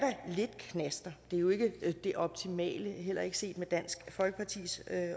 lidt knaster det er jo ikke det optimale heller ikke set med dansk folkepartis